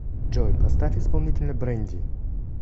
джой поставь исполнителя брэнди